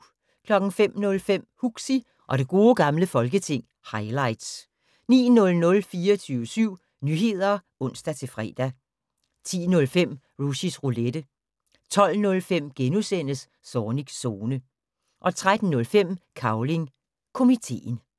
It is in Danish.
05:05: Huxi og det gode gamle folketing - highlights 09:00: 24syv Nyheder (ons-fre) 10:05: Rushys Roulette 12:05: Zornigs Zone * 13:05: Cavling Komiteen